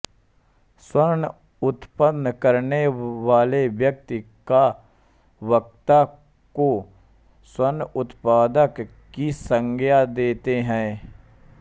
स्वन उत्पन्न करनेवाले व्यक्ति या वक्ता को स्वनउत्पादक की संज्ञा देते है